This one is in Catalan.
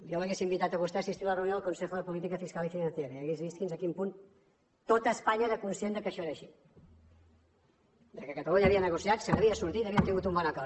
jo l’hauria invitat a vostè a assistir a la reunió del consejo de política fiscal y financiera i hauria vist fins a quin punt tot espanya era conscient que això era així que catalunya havia negociat se n’havia sortit i havíem tingut un bon acord